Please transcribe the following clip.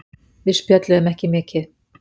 Við spjölluðum ekki mikið.